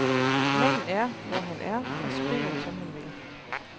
Manden er, hvor han er, og skriver, som han vil.